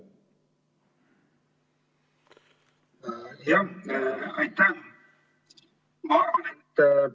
Aitäh!